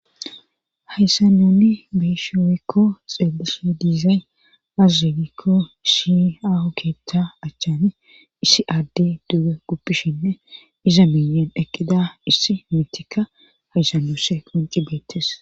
Hayssa nuuni be7ishe woykko xeelishe dizay aaze giikko issi kiita achaani issi addey duge guppishenne iza miyyen eqqida issi miitika hayssa nuusi qoncci beettees.